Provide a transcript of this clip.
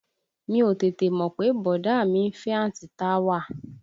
Mi ò tètè mọ̀ pé bọ̀dá à mi ń fẹ́ àǹtí Táwà